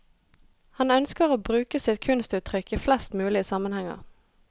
Han ønsker å bruke sitt kunstuttrykk i flest mulig sammenhenger.